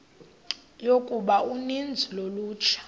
yokuba uninzi lolutsha